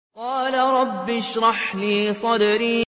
قَالَ رَبِّ اشْرَحْ لِي صَدْرِي